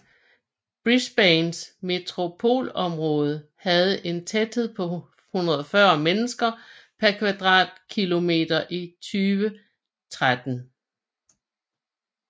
Brisbanes metropolområde havde en tæthed på 140 mennesker per kvadratkilometer i 2013